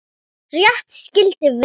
Rétt skyldi vera rétt.